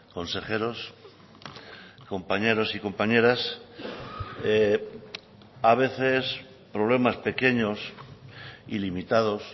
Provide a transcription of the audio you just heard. consejeros compañeros y compañeras a veces problemas pequeños y limitados